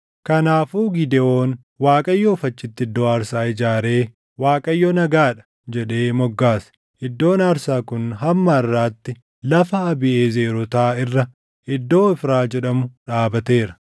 Kanaafuu Gidewoon Waaqayyoof achitti iddoo aarsaa ijaaree, “ Waaqayyo Nagaa dha” jedhee moggaase. Iddoon aarsaa kun hamma harʼaatti lafa Abiiʼezerootaa irra iddoo Ofraa jedhamu dhaabateera.